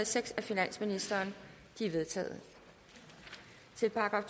seks af finansministeren de er vedtaget til §